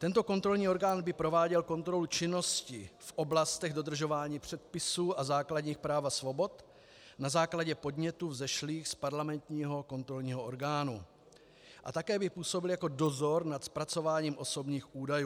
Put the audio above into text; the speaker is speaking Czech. Tento kontrolní orgány by prováděl kontrolu činnosti v oblastech dodržování předpisů a základních práv a svobod na základě podnětů vzešlých z parlamentního kontrolního orgánu a také by působil jako dozor nad zpracováním osobních údajů.